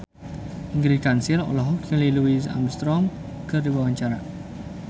Ingrid Kansil olohok ningali Louis Armstrong keur diwawancara